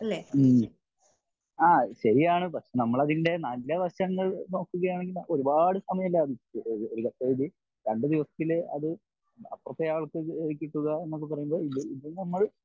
മ്മ്ഹ് ആ ശെരിയാണ് പക്ഷെ നമ്മൾ അതിൻ്റെ നല്ല വശങ്ങൾ നോക്കുകയാണെങ്കിൽ ഒരുപാട് സമയം ലാഭിക്കാം ഒരുപക്ഷെ അത് രണ്ട് ദിവസത്തിൽ അത് അപ്പുറത്തെ ആൾക്ക് കിട്ടുക എന്നൊക്കെ പറയുന്നത് ഇത് നമ്മൾ